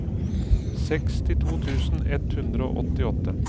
sekstito tusen ett hundre og åttiåtte